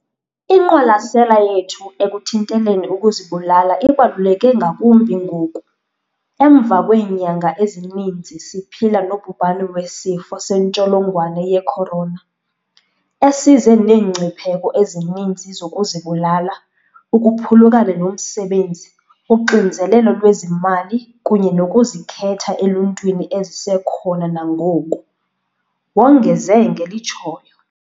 "Inqwalasela yethu ekuthinteleni ukuzibulala ibaluleke ngakumbi ngoku, emva kweenyanga ezininzi siphila nobhubhane weSifo sentsholongwane ye-Corona, esize neengcipheko ezininzi zokuzibulala ukuphulukana nomsebenzi, uxinzelelo lwezimali kunye nokuzikhetha eluntwini ezisekhona nangoku," wongeze ngelitshoyo.